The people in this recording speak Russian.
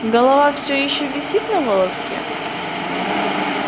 голова всё ещё висит на волоске